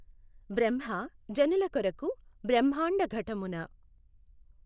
బ్రహ్మ జనులకొఱకు బ్రహ్మాండఘటమున